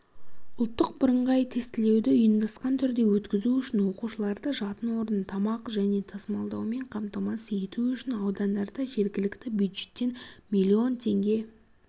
ұлттық бірыңғай тестілеуді ұйымдасқан түрде өткізу үшін оқушыларды жатын орын тамақ және тасымалдаумен қамтамасыз ету үшін аудандарда жергілікті бюджеттен миллион теңге